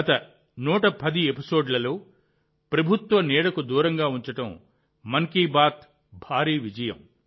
గత 110 ఎపిసోడ్లలో ప్రభుత్వ నీడకు దూరంగా ఉంచడం మన్ కీ బాత్ భారీ విజయం